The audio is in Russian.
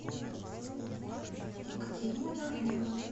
екатерина давыдова